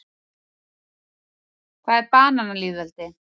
Hvað er bananalýðveldi?